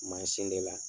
Mansin de la